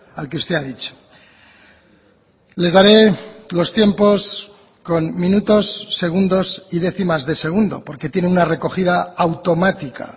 al que usted ha dicho les daré los tiempos con minutos segundos y décimas de segundo porque tiene una recogida automática